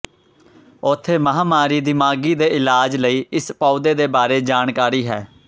ਉੱਥੇ ਮਹਾਮਾਰੀ ਦਿਮਾਗੀ ਦੇ ਇਲਾਜ ਲਈ ਇਸ ਪੌਦੇ ਦੇ ਬਾਰੇ ਜਾਣਕਾਰੀ ਹੈ